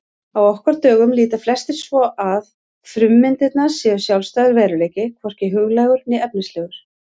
Á okkar dögum líta flestir svo að frummyndirnar séu sjálfstæður veruleiki, hvorki huglægur né efnislegur.